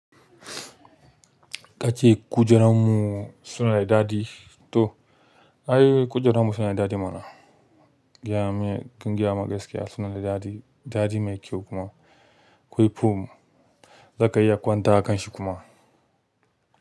Ka ce kujerunmu suna da daɗi to, ayy kujerunmu suna da daɗi mana. Giyan mu, ƙungiyan mu gaskiya suna da daɗi, daɗi mai kyau kuma. Kwai fom, za ka iya kwanta a kan shi kuma.